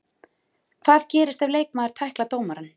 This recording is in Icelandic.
Hvað gerist ef leikmaður tæklar dómarann?